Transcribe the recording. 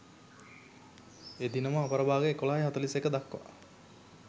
එදිනම අපරභාග 11.41 දක්වා